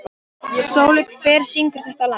Sóli, hver syngur þetta lag?